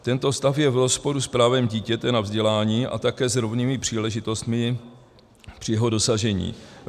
Tento stav je v rozporu s právem dítěte na vzdělání a také s rovnými příležitostmi při jeho dosažení.